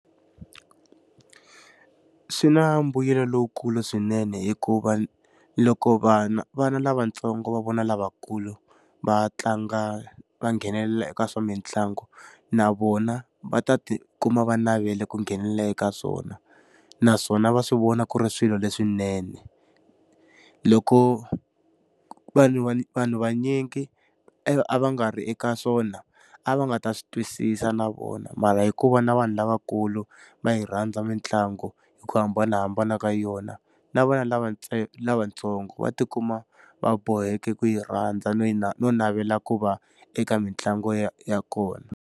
Swi na mbuyelo lowukulu swinene hikuva loko vana vana lavatsongo va vona lavakulu va tlanga va nghenelela eka swa mitlangu, na vona va ta ti kuma va navele ku nghenelela eka swona. Naswona va swi vona ku ri swilo leswinene. Loko vanhu vanhu vunyingi a va nga ri eka swona, a va nga ta swi twisisa na vona mara hi ku va na vanhu lavakulu va yi rhandza mitlangu hi ku hambanahambana ka yona, na vana lavatsongo va ti kuma va boheke ku yi rhandza no yi no navela ku va eka mitlangu ya ya kona.